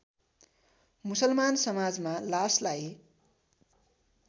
मुसलमान समाजमा लासलाई